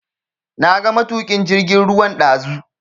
Na ga matukin jirgin ruwan dazu.